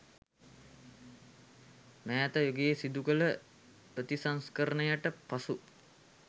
මෑත යුගයේ සිදු කළ ප්‍රතිසංස්කරණයට පසු